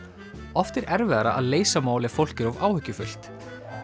oft er erfiðara að leysa mál ef fólk er of áhyggjufullt